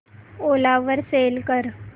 ओला वर सेल कर